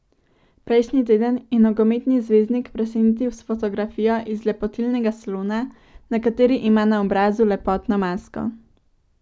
Prejšnji teden je nogometni zvezdnik presenetil s fotografijo iz lepotilnega salona, na kateri ima na obrazu lepotno masko.